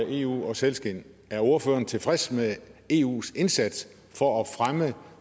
eu og sælskind er ordføreren så tilfreds med eus indsats for at fremme